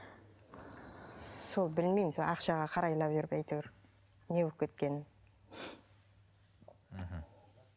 сол білмеймін ақшаға қарайлап жүріп әйтеуір не болып кеткенін мхм